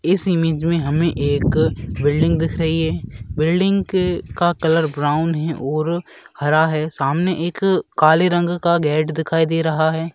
इस इमेज में हमे एक बिल्डिंग दिखाई दे रही है बिल्डिंग का कलर ब्राउन और हरा है सामने एक काले रंग का गेट दिख रहा है।